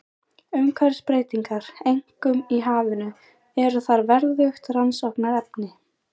Umhverfisbreytingar, einkum í hafinu, eru þar verðugt rannsóknarefni.